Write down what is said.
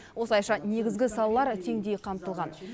осылайша негізгі салалар теңдей қамтылған